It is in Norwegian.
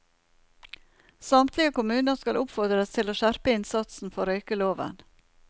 Samtlige kommuner skal oppfordres til å skjerpe innsatsen for røykeloven.